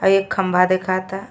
और एक खम्बा दिखत ह।